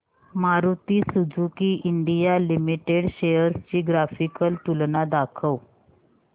Maruti Suzuki India limited shares ची graphical तुलना दाखव